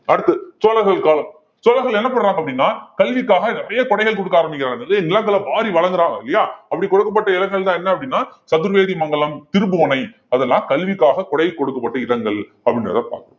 அடுத்து சோழர்கள் காலம் சோழர்கள் என்ன பண்றாங்க அப்படின்னா கல்விக்காக நிறைய கொடைகள் கொடுக்க ஆரம்பிக்கிறாங்க நிலங்களை வாரி வழங்குறாங்க இல்லையா அப்படி கொடுக்கப்பட்ட இடங்கள் தான் என்ன அப்படின்னா சதுர்வேதிமங்கலம், திருப்புவனை அதெல்லாம் கல்விக்காக கொடை கொடுக்கப்பட்ட இடங்கள் அப்படின்றதை பார்க்கணும்